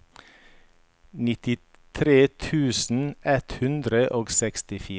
nittitre tusen ett hundre og sekstifire